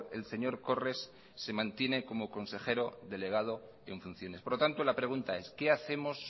el señor corres se mantiene como consejero delegado en funciones por lo tanto la pregunta es qué hacemos